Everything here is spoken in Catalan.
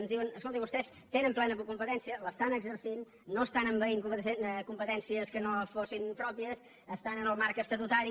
ens diuen escoltin vostès tenen plena competència l’estan exercint no estan envaint competències que no fossin pròpies estan en el marc estatutari